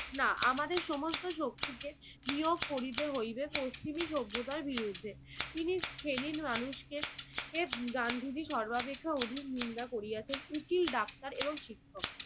না, আমাদের সমস্ত শক্তিকে নিয়োগ করিতে হইবে পশ্চিমী সভ্যতার বিরুদ্ধে। তিনি তিন শ্রেণীর মানুষকে গান্ধিজি সর্বাপেক্ষা অধিক নিন্দা করিয়াছেন উকিল ডাক্তার এবং শিক্ষক।